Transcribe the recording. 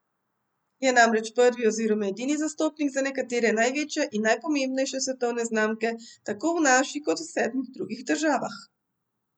Je namreč prvi oziroma edini zastopnik za nekatere največje in najpomembnejše svetovne znamke, tako v naši kot v sedmih drugih državah.